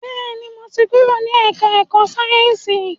Bẹ́ẹ̀ni, mo ti kúrò ní ẹ̀ká ẹ̀kọ́ Sáyẹ̀nsì